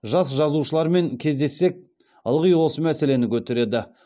жас жазушылармен кездессек ылғи осы мәселені көтереді